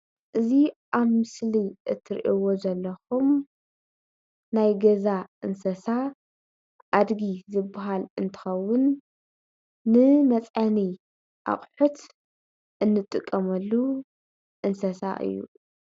እዚ አብ ምስሊ እትሪኢዎ ዘለኩም ናይ ገዛ እንስሳ አድጊ ዝብሃል እንትኸውን ንመፅዓኒ አቑሕት እንጥቀመሉ እንስሳ እዩ፡፡